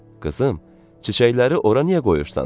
Qızım, çiçəkləri ora niyə qoyursan?